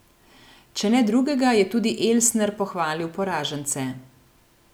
Če ne drugega, je tudi Elsner pohvalil poražence.